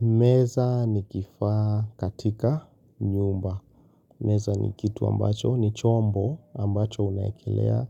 Meza ni kifaa katika nyumba. Meza ni kitu ambacho ni chombo ambacho unawekelea